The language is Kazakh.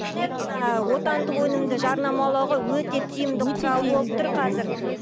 отандық өнімді жарнамалауға өте тиімді құрал болып тұр қазір